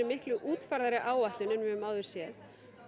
miklu útfærðari áætlun en við höfum áður séð